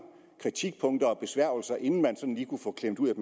kritikpunkter og besværgelser inden man sådan lige kunne få klemt ud